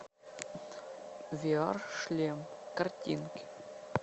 виар шлем картинки